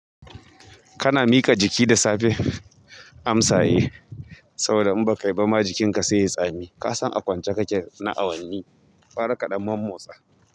Kana miƙa jiki da safe amsa eh saboda in ba ka yi ba ma jikinka sai ya tsami. Ka san a kwance kake na awanni, gyara kaɗan mamotsa.